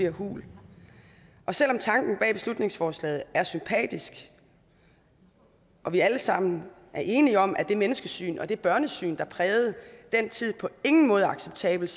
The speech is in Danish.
hul og selv om tanken bag beslutningsforslaget er sympatisk og vi alle sammen er enige om at det menneskesyn og det børnesyn der prægede den tid på ingen måde er acceptabelt